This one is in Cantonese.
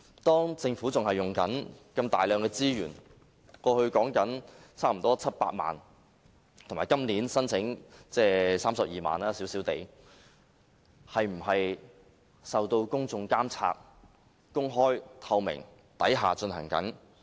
當政府仍然在使用如此大量的資源——過去用了差不多700萬元，以及今年小量地申請32萬元撥款——一些事情是否受到公眾監察、是公開、透明地進行的呢？